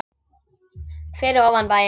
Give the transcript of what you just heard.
Fyrir ofan bæinn.